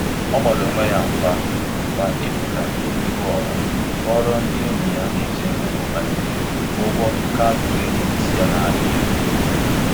Ọ gbara onwe ya mgba mgba ịpụta n'ihu ọha kọọrọ ndị enyi na ndị ezinụlọ banyere ụgwọ kaadị kredit ya na-arị elu.